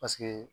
Paseke